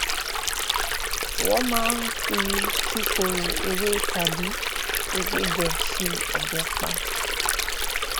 wón máa fi kíkorò ewé tàbí ewébè ṣe obèèpà